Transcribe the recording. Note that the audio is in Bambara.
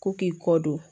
Ko k'i kɔ don